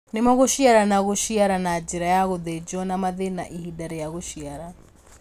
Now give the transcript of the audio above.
Nĩmo, gũciara na gũciara na njĩra ya gũthĩnjwo na mathĩna ihinda rĩa gũciara